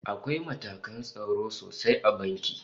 Akwai matakan tsaro sosai a banki